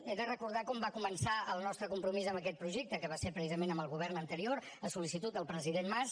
he de recordar com va començar el nostre compromís amb aquest projecte que va ser precisament amb el govern anterior a sol·licitud del president mas